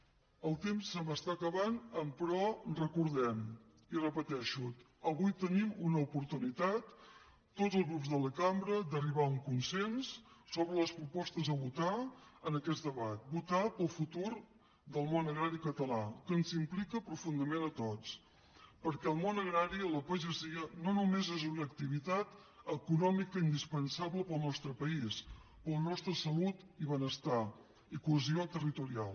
el temps se m’està acabant emperò recordem i ho repeteixo avui tenim una oportunitat tots els grups de la cambra d’arribar a un consens sobre les propostes a votar en aquest debat votar pel futur del món agrari català que ens implica profundament a tots perquè el món agrari la pagesia no només és una activitat econòmica indispensable per al nostre país per a la nostra salut i benestar i cohesió territorial